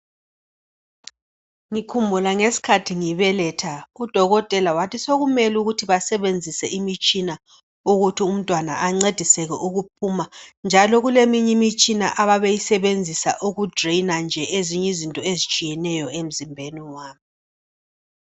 Ngikhumbula ngesikhathi ngibeletha udokotela wathi sokumele ukuthi basebenzise umtshina ukuthi umntwana ancediseke ukuphuma njalo kuleminye imitshina ababeyisebenzisa uku"drainer" nje ezinye izinto ezitshiyeneyo emzimbeni wami.